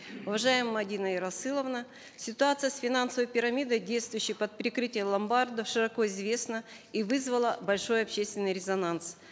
уважаемая мадина ерасыловна ситуация с финансовой пирамидой действующей под прикрытием ломбардов широко известна и вызвала большой общественный резонанс